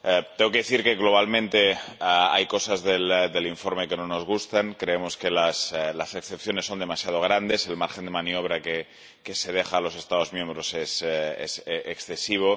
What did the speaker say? Tengo que decir que globalmente hay cosas del informe que no nos gustan. Creemos que las excepciones son demasiado grandes y el margen de maniobra que se deja a los Estados miembros es excesivo.